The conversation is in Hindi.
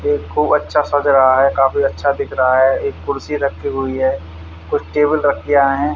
अच्छा सज रहा है काफी अच्छा दिख रहा है एक कुर्सी रखी हुई है कुछ टेबल रख दिया है।